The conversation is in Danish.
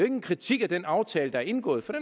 en kritik af den aftale der er indgået for